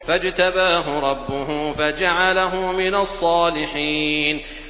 فَاجْتَبَاهُ رَبُّهُ فَجَعَلَهُ مِنَ الصَّالِحِينَ